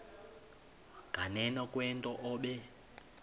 nganeno kwento obe